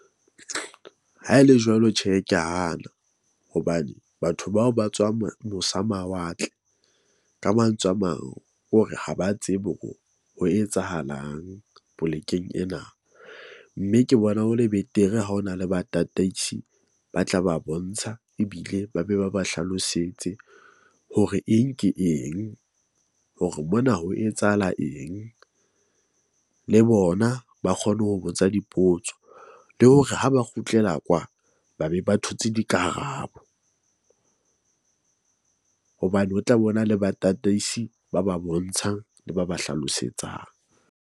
Ha e le jwalo, tjhe, ke a hana hobane batho bao ba tswang mo mosa mawatle, ka mantswe a mang, ke hore ha ba tsebe hore ho etsahalang polekeng ena. Mme ke bona ho le betere ha hona le batataisi ba tla ba bontsha ebile ba be ba ba hlalosetse hore eng ke eng. Hore mona ho etsahala eng le bona ba kgone ho botsa dipotso. Le hore ha ba kgutlela kwa ba be ba thotse dikarabo hobane ho tla be ho na le batataisi ba ba bontshang le ba ba hlalosetsang.